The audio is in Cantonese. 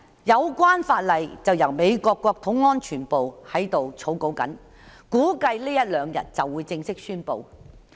有關法例目前由美國國土安全部草擬，估計這一兩天便會正式公布。